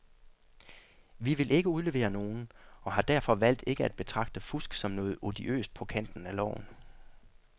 Vi vil ikke udlevere nogen, og har derfor valgt ikke at betragte fusk som noget odiøst på kanten af loven.